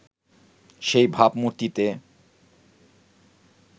সেই ভাবমূর্তিতে